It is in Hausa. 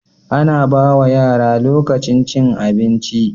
Ana Bawa yara lokacin cin abinci